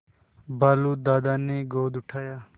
भालू दादा ने गोद उठाया